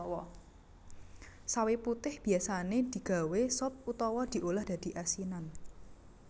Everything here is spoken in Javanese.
Sawi putih biyasané digawé sop utawa diolah dadi asinan